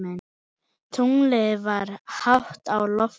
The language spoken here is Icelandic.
Tunglið var hátt á lofti.